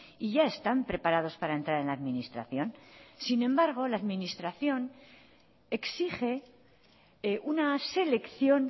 y ya están preparados para entrar en la administración sin embargo la administración exige una selección